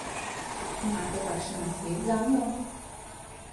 Imata kakšen nasvet zanju?